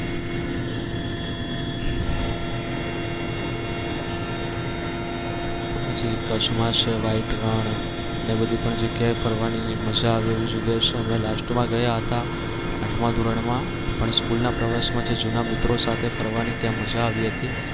પછી કચ્છ માં છે white રણ ને એ બધી પણ જગ્યા એ ફરવાની મજા આવે એવી જગ્યા છે અમે last માં ગયા હતા આઠમાં ધોરણ માં પણ સ્કૂલ ના પ્રવાસમાં જે જૂના મિત્રો સાથે ફરવાની ત્યાં મજા આવી હતી.